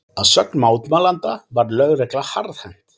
Að sögn mótmælenda var lögregla harðhent